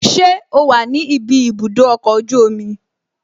Ṣé o wà ní ibi ibùdó ọkọ̀ ojú omi?